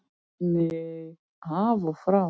Nei, af og frá.